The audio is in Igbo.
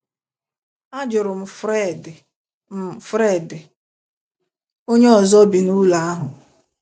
Ajụrụ m Fred m Fred onye ọzọ bi n’ụlọ ahụ.